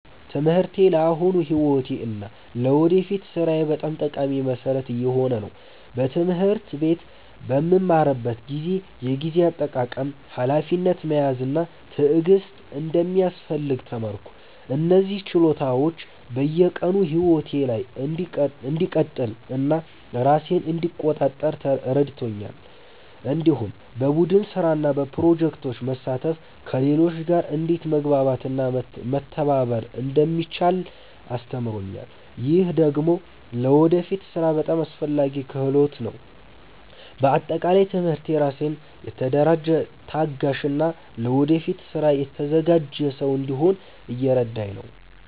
ትምህርቴ ለአሁኑ ሕይወቴ እና ለወደፊት ሥራዬ በጣም ጠቃሚ መሠረት እየሆነ ነው። በትምህርት ቤት በምማርበት ጊዜ የጊዜ አጠቃቀም፣ ሀላፊነት መያዝ እና ትዕግስት እንደሚያስፈልግ ተማርኩ። እነዚህ ችሎታዎች በየቀኑ ሕይወቴ ላይ እንድቀጥል እና ራሴን እንድቆጣጠር ረድተውኛል። እንዲሁም በቡድን ስራ እና በፕሮጀክቶች መሳተፍ ከሌሎች ጋር እንዴት መግባባት እና መተባበር እንደሚቻል አስተምሮኛል። ይህ ደግሞ ለወደፊት ሥራ በጣም አስፈላጊ ክህሎት ነው። በአጠቃላይ ትምህርቴ ራሴን የተደራጀ፣ ታጋሽ እና ለወደፊት ስራ የተዘጋጀ ሰው እንድሆን እየረዳኝ ነው።